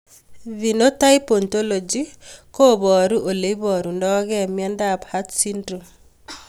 Phenotype ontology koparu ole iparug'ei miondop Art syndrome